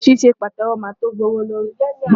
Ṣíṣe Pàtẹ́wọ́ máa tó gbé owó lórí.